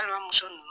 Balimamuso ninnu